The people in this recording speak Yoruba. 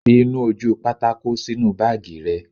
Fi ìnu-ojúpátákó sínu báàgì rẹ